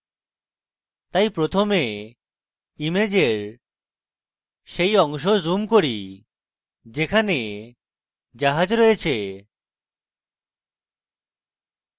তাই প্রথমে ইমেজের সেই অংশ zoom করি যেখানে জাহাজ রয়েছে